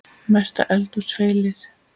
Mesta eldhús feilið?